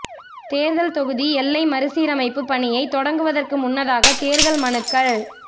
தேர்தல் தொகுதி எல்லை மறுசீரமைப்புப் பணியைத் தொடங்குவதற்கு முன்னதாக தேர்தல் மனுக்கள்